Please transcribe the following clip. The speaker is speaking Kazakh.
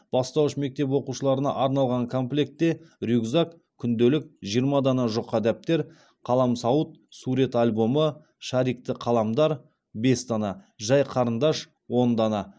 бастауыш мектеп оқушыларына арналған комплектте рюкзак күнделік жиырма дана жұқа дәптер қаламсауыт сурет альбомы шарикті қаламдар бес дана жай қарындаш он дана